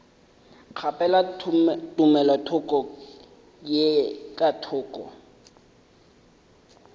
kgaphela tumelothoko ye ka thoko